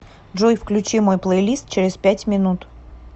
джой включи мой плейлист через пять минут